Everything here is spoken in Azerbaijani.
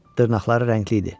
Dırnaqları rəngli idi.